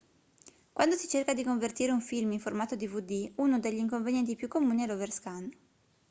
quando si cerca di convertire un film in formato dvd uno degli inconvenienti più comuni è l'overscan